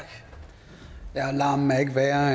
det herre